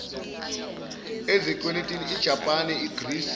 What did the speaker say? ezikweletini ijapan igreece